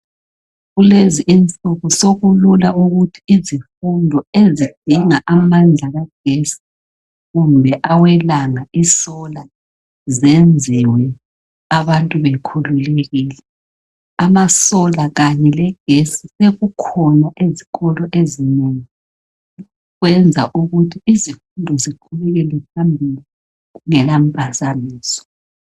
Kulezi insuku sokulula ukuthi izifundo ezidinga amandla kagesi kumbe awelanga isola, zenziwe abantu bekhululekile. Amasolar kanye legesi sekukhona ezikolo ezinengi kwenza ukuthi izifundo ziqhubekele phambili kungela mpazamiso.